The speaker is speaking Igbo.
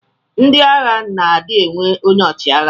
Ndi agha na adi enwe onye ọchiagha.